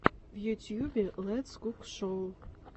в ютюбе летс кук шоу